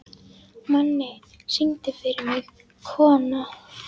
Manni, syngdu fyrir mig „Kona“.